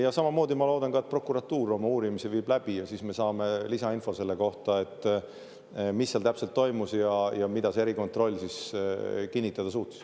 Ja samamoodi ma loodan, et prokuratuur oma uurimise viib läbi ja siis me saame lisainfo selle kohta, mis seal täpselt toimus ja mida see erikontroll siis kinnitada suutis.